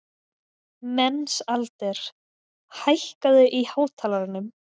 Mensalder, hækkaðu í hátalaranum.